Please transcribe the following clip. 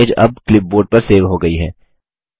image अब clipboard पर save हो गयी है